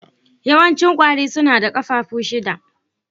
Yawancin ƙwari suna da ƙafafu shida.